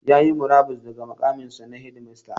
Ya yi murabus daga muƙaminsa na shedimasta.